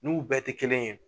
N'u bɛɛ tɛ kelen ye